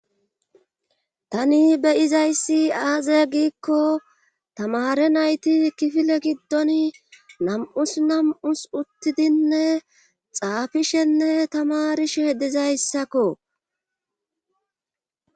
Tani beyizayssi aaziya giikko tamare nayti kifile giddon nam7us nam7us uttidinne xaafishenne tamarishe dizayssakko